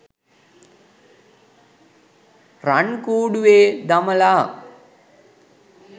රන් කුඩුවෙ දමලා